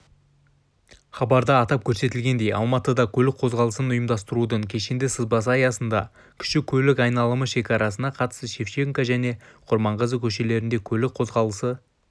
хабарда атап көрсетілгендей алматыда көлік қозғалысын ұйымдастырудың кешенді сызбасы аясында кіші көлік айналымы шекарасына қатысты шевченко және құрманғазы көшелерінде көлік қозғалысы